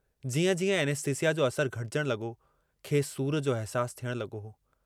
जीअं जीअं ऐनेस्थिस्यिा जो असरु घटिजण लगो खेसि सूर जो अहसासु थियण लगो हो।